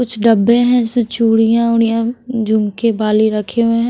कुछ डब्बे हैं जिसमें चूड़ियां उड़ियां झुमके बॉली रखे हुए हैं।